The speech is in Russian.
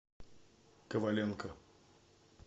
коваленко